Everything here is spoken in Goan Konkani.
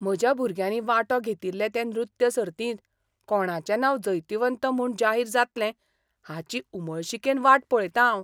म्हज्या भुरग्यांनी वांटो घेतिल्ले ते नृत्य सर्तींत कोणाचें नांव जैतिवंत म्हूण जाहीर जातलें हाची उमळशिकेन वाट पळयतां हांव.